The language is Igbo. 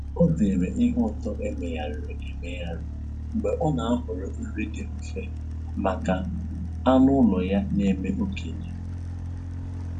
Ọ zeere ihe ụtọ emegharịrị emegharị mgbe ọ na-ahọrọ nri dị mfe maka anụ ụlọ ya na-eme okenye